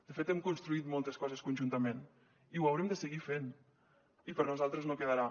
de fet hem construït moltes coses conjuntament i ho haurem de seguir fent i per nosaltres no quedarà